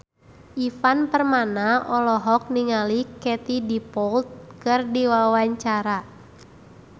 Ivan Permana olohok ningali Katie Dippold keur diwawancara